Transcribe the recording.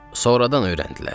Sonradan öyrəndilər.